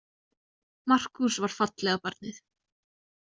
Markús var fallega barnið.